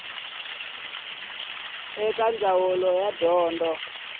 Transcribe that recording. eka ndzawulo ya dyondzo ya